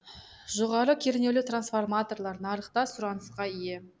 жоғары кернеулі трансформаторлар нарықта сұранысқа ие